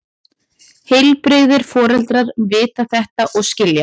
Heilbrigðir foreldrar vita þetta og skilja.